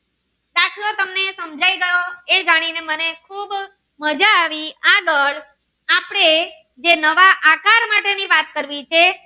એ જાણી ને મને ખુબ માજા આવી આગળ આપડે જે નવા આકાર માટે ની વાત કરવી છે.